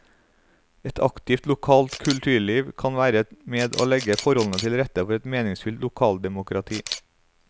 Et aktivt lokalt kulturliv kan være med å legge forholdene til rette for et meningsfylt lokaldemokrati.